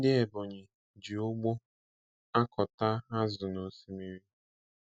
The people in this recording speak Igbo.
Ndị Ebonyi ji ụgbụ akọta azụ nosimiri.